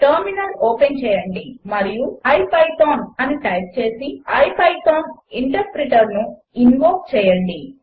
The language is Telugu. టర్మినల్ ఓపెన్ చేయండి మరియు ఇపిథాన్ అని టైప్ చేసి ఇపిథాన్ ఇంటర్ప్రిటర్ను ఇన్వోక్ చేయండి